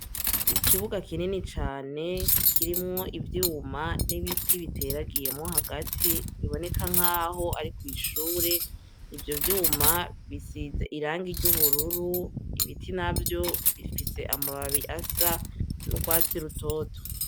Ikibuga kinini cane kirimwo ivyuma n'ibiti biteragiyemo hagati biboneka nk'aho ari kw'ishure, ivyo vyuma bisize iranga ry'ubururu, ibiti navyo bifise amababi asa n'urwatsi rutoto.